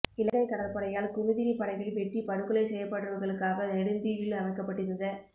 இலங்கை கடற்படையால் குமுதினிப் படகில் வெட்டிப் படுகொலை செய்யப்பட்டவர்களுக்காக நெடுந்தீவில் அமைக்கப்பட்டிருந்த